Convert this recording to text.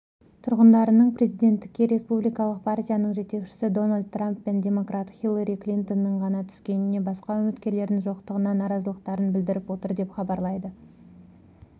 тұрғындарының президенттікке республикалық партияның жетекшісі дональд трамп пен демократ хиллари клинтонның ғана түскеніне басқа үміткерлердің жоқтығына наразылықтарын білдіріп отыр деп хабарлайды